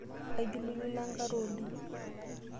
Aijulujulo enkare oleng.